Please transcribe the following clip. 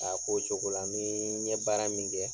A ko cogo la, ni ɲe baara min kɛ